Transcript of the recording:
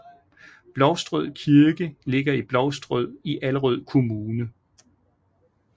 Blovstrød Kirke ligger i Blovstrød i Allerød Kommune